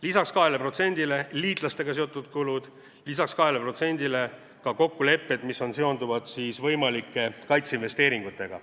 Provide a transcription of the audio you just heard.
Lisaks 2%-le on liitlastega seotud kulud, lisaks 2%-le on ka kokkulepped, mis seonduvad võimalike kaitseinvesteeringutega.